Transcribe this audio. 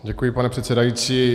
Děkuji, pane předsedající.